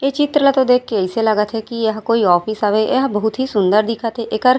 ए चित्र ला तो देख के अइसे लगत हे की यह कोई ऑफिस हवे यह बहुत ही सुन्दर दिखत हे एकर--